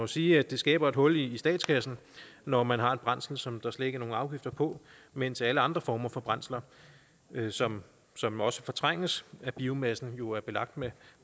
sige at det skaber et hul i statskassen når man har et brændsel som der slet ikke er nogen afgifter på mens alle andre former for brændsler som som også fortrænges af biomassen jo er belagt med